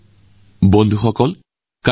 এয়া হব পৰীক্ষা পে চৰ্চাৰ সপ্তম সংস্কৰণ